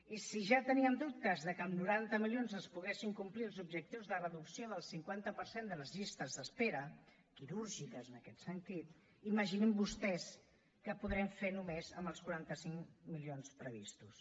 i si ja teníem dubtes de que amb noranta milions es poguessin complir els objectius de reducció del cinquanta per cent de les llistes d’espera quirúrgiques en aquest sentit imaginin vostès què podrem fer només amb els quaranta cinc milions previstos